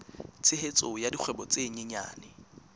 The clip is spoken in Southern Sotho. tshehetso ya dikgwebo tse nyenyane